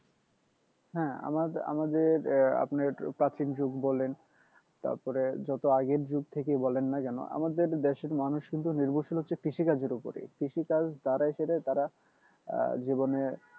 হ্যাঁ আমা আমাদের আপনার একটু প্রাচীন যুগ বলেন তারপরে যত আগের যুগ থেকে বলেন না কেন আমাদের দেশের মানুষ কিন্তু নির্ভরশীল হচ্ছে কৃষি কাজের ওপরেই কৃষিকাজ তারা আহ জীবনে